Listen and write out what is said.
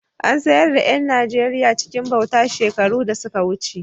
An sayar da ’yan Najeriya cikin bauta shekaru da suka wuce.